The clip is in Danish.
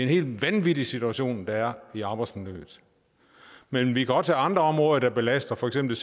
helt vanvittig situation der er i arbejdsmiljøet men vi kan også tage andre områder der belaster for eksempel